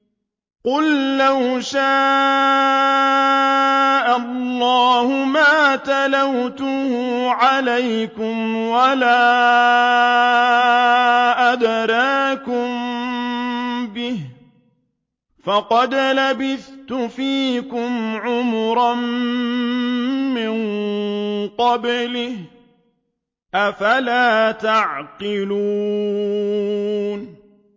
قُل لَّوْ شَاءَ اللَّهُ مَا تَلَوْتُهُ عَلَيْكُمْ وَلَا أَدْرَاكُم بِهِ ۖ فَقَدْ لَبِثْتُ فِيكُمْ عُمُرًا مِّن قَبْلِهِ ۚ أَفَلَا تَعْقِلُونَ